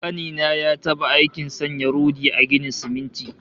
Ƙani na ya taɓa aikin sanya rodi a ginin siminti